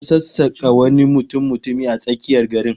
An sassaka wani mutummutumi a tsakiyar garin